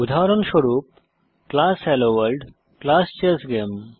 উদাহরণস্বরূপ class hello world class chess game